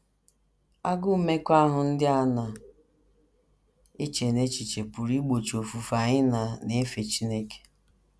Agụụ mmekọahụ ndị a na - eche n’echiche pụrụ igbochi ofufe anyị na na - efe Chineke.